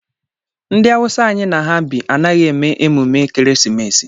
Ndị Awụsa anyị na ha bi anaghị eme emume ekeresimesi.